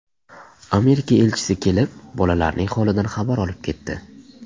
Amerika elchisi kelib, bolalarning holidan xabar olib ketdi.